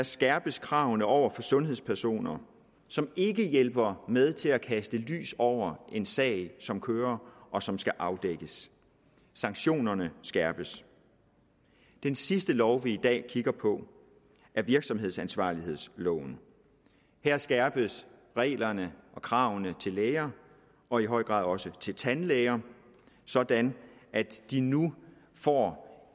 skærpes kravene over for sundhedspersoner som ikke hjælper med til at kaste lys over en sag som kører og som skal afdækkes sanktionerne skærpes den sidste lov vi i dag kigger på er virksomhedsansvarlighedsloven her skærpes reglerne og kravene til læger og i høj grad også til tandlæger sådan at de nu får